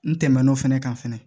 N tɛmɛn'o fɛnɛ kan fɛnɛ